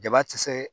Jaba ti se